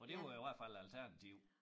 For det var i hvert fald æ alternativ